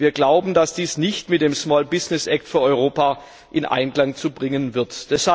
Wir glauben, dass dies nicht mit dem Small Business Act für Europa in Einklang zu bringen ist!